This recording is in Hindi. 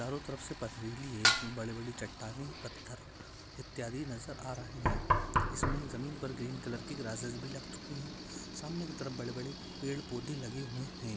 चारो तरफ से पथरीली है। इसमे बडी बडी चट्टाने पत्थर इत्यादि नजर आ रहे है। इसमे जमीन पर ग्रीन कलर कि ग्रासेस भी लग चुकी है। सामने कि तरफ बडे बडे पेड़ पौधे लगे हुये है।